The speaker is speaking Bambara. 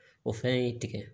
O fɛn ye tigɛ